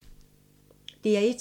DR1